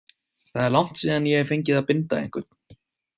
Það er langt síðan ég hef fengið að binda einhvern.